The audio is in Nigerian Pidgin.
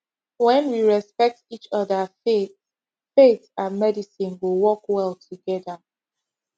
when we respect each other faith faith and medicine go work well together